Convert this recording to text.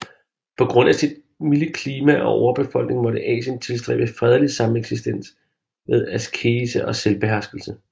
På grund af sit milde klima og overbefolkning måtte Asien tilstræbe fredelig sameksistens ved askese og selvbeherskelse